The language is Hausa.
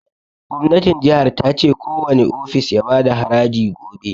Gwamnatin jihar ta ce kowani ofis ya bada haraji gobe